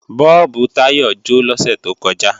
Bọ́ọ̀bù Táyọ jó lọ́sẹ̀ tó kọjá